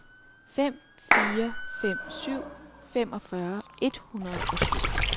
fem fire fem syv femogfyrre et hundrede og syv